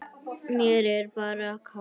Mér er bara kalt.